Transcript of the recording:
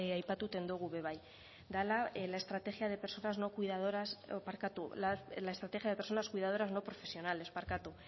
aipatzen duguna ere bai dela la estrategia de personas cuidadoras no profesionales